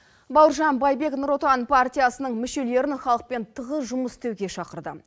бауыржан байбек нұр отан партиясының мүшелерін халықпен тығыз жұмыс істеуге шақырды